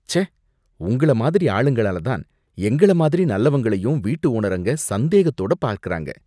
ச்சே! உங்கள மாதிரி ஆளுங்களால தான் எங்கள மாதிரி நல்லவங்களயும் வீட்டு ஓனருங்க சந்தேகத்தோட பார்க்கறாங்க